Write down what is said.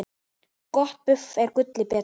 Gott buff er gulli betra.